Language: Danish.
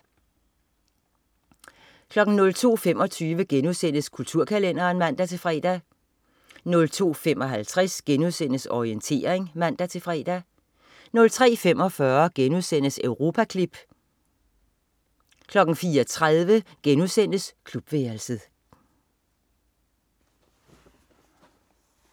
02.25 Kulturkalenderen* (man-fre) 02.55 Orientering* (man-fre) 03.45 Europaklip* 04.30 Klubværelset*